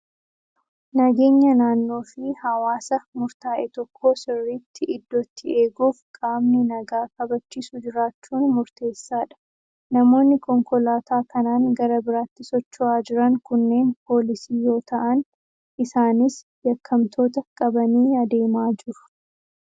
Nageenya naannoo fi hawaasa murtaa'e tokkoo sirriitti iddootti eeguuf qaamni nagaa kabachiisu jiraachuun murteessaadha. Namoonni konkolaataa kanaan gara biraatti socho'aa jiran kunneen poolisii yoo ta'an, isaanis yakkamtoota qabanii adeemaa jiru.